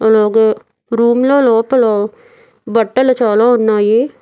అలాగే రూమ్లో లోపల బట్టలు చాలా ఉన్నాయి.